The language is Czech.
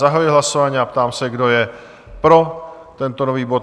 Zahajuji hlasování a ptám se, kdo je pro tento nový bod?